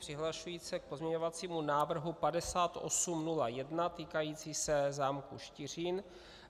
Přihlašuji se k pozměňovacímu návrhu 5801 týkajícímu se zámku Štiřín.